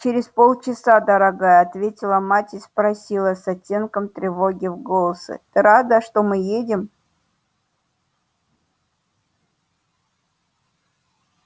через полчаса дорогая ответила мать и спросила с оттенком тревоги в голосе ты рада что мы едем